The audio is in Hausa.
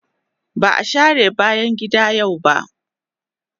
Ba a share bayan gida yau ba.